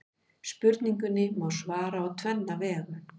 Spurningunni má svara á tvenna vegu.